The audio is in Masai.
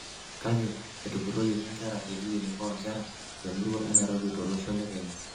Kake etupuroyioki nkera te kilinik o nkera temurua eNairobi tolosho le Kenya.